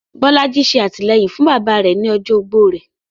Bolaji ṣe atilẹyin fun baba rẹ ni ọjọ ogbó rẹ